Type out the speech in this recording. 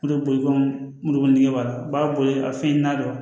O de b'i kɔn moribo nɛgɛburu b'a boli a fɛn n'a dɔn